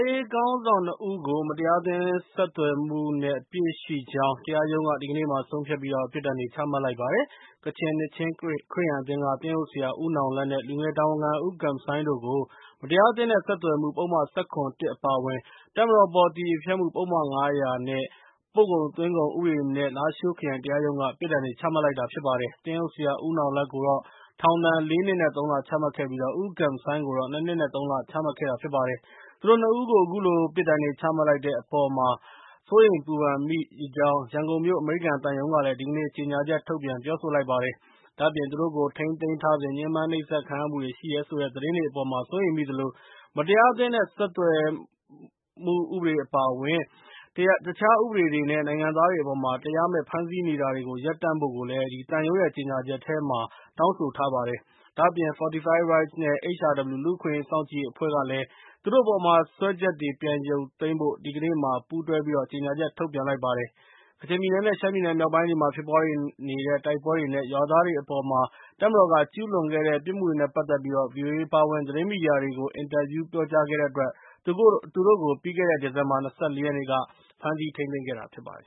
ရေးခေါင်းဆောင် ၂ ဦးကို မတရားအသင်းဆက်သွယ်မှု နဲ့ အပြစ်ရှိကြောင်း တရားရုံးက ဒီကနေ့မှာ ဆုံးဖြတ်ပြီး ပြစ်ဒဏ်တွေချမှတ်လိုက်ပါတယ်။ ကချင်နှစ်ခြင်း ခရစ်ယာန်အသင်းက သင်းအုပ်ဆရာ ဦးနောင်လတ် နဲ့ လူငယ်တာဝန်ခံ ဦးဂမ်ဆိုင်းတို့ကို မတရားအသင်းနဲ့ ဆက်သွယ်မှု ပုဒ်မ ၁၇ အပါအဝင် တပ်မတော်အပေါ် အသရေဖျက်မှု ပုဒ်မ ၅၀၀ နဲ့ ပို့ကုန်သွင်းကုန်ဥပဒေတွေနဲ့ လားရှိုး ခရိုင်တရားရုံးက ပြစ်ဒဏ်တွေချမှတ်လိုက်တာဖြစ်ပါတယ်။ သင်းအုပ်ဆရာ ဦးနောင်လတ်ကိုတော့ ထောင်ဒဏ် ၄ နှစ် နဲ့ ၃ လ ချမှတ်ခဲ့ပြီး၊ ဦးဂမ်ဆိုင်းကိုတော့ ၂ နှစ် နဲ့ ၃ လ ပြစ်ဒဏ်ချမှတ်ခဲ့တာဖြစ်ပါတယ်။ သူတို့ ၂ ဦးကို အခုလို ပြစ်ဒဏ်တွေချမှတ်လိုက်တဲ့အပေါ်မှာ စိုးရိမ်ပူပန်မိကြောင်း ရန်ကုန်မြို့အမေရိကန်သံရုံးကလည်း ဒီကနေ့ ကြေညာချက် ထုတ်ပြန်ပြောဆို လိုက်ပါတယ်။ ဒါ့အပြင် သူတို့ကိုထိန်းသိမ်းထားစဉ် ညှင်းပန်းနှိပ်စက်ခံရမှုတွေ ရှိတယ်ဆိုတဲ့ သတင်းတွေအပေါ် စိုးရိမ်မိသလို၊ မတရားအသင်းနဲ့ ဆက်သွယ်မှုဥပဒေ အပါအဝင် တခြားဥပဒေတွေနဲ့ နိုင်ငံသားတွေအပေါ် တရားမဲ့ဖမ်းဆီးနေတာတွေကို ရပ်တန့်ဖို့လည်း တောင်းဆိုလိုက်ပါတယ်။ ဒါ့အပြင် Fortify Rights နဲ့ HRW လူ့အခွင့်အရေးစောင့်ကြည့်ရေးအဖွဲ့ကလည်း သူတို့အပေါ် စွဲချက်တွေကို ပြန်ရုတ်သိမ်းဖို့ ဒီကနေ့မှာ ပူးတွဲကြေညာချက် ထုတ်ပြန်လိုက်ပါတယ်။ကချင်ပြည်နယ် နဲ့ ရှမ်းပြည်နယ်မြောက်ပိုင်းတွေမှာ ဖြစ်ပွားနေတဲ့ တိုက်ပွဲတွေနဲ့ ရွာသားတွေအပေါ် တပ်မတော်က ကျူးလွန်ခဲ့တဲ့ ပြစ်မှုတွေနဲ့ ပတ်သက်ပြီး ဗွီအိုအေအပါအဝင် သတင်းမီဒီယာ တွေကို အင်တာဗျူးတွေ ပြောကြားခဲ့တဲ့အတွက် သူတို့ကို ပြီးခဲ့တဲ့နှစ် ဒီဇင်ဘာလ ၂၄ ရက်နေ့က ဖမ်းဆီးထိန်းသိမ်းခဲ့တာဖြစ်ပါတယ်